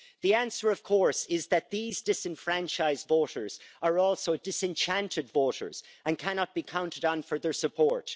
The answer, of course, is that these disenfranchised voters are also disenchanted voters, and cannot be counted on for their support.